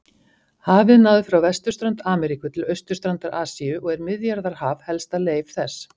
Hafið náði frá vesturströnd Ameríku til austurstrandar Asíu og er Miðjarðarhaf helsta leif þess.